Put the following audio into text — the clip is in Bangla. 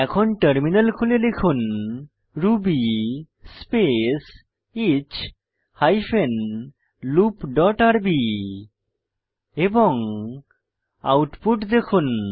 এখন টার্মিনাল খুলুন এবং লিখুন ruby space H hyphen loop dot RB এবং আউটপুট দেখুন